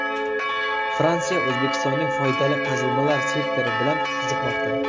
Fransiya O‘zbekistonning foydali qazilmalar sektori bilan qiziqmoqda.